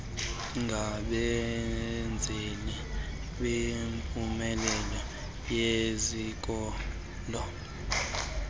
ngabenzeli bempumelelo yezikolo